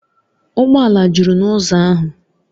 Ụgbọ ala juru n’ụzọ ahụ